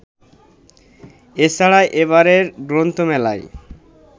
এছাড়া এবারের গ্রন্থমেলায়